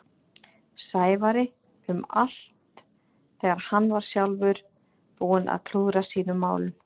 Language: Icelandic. Sævari um allt þegar hann var sjálfur búinn að klúðra sínum málum.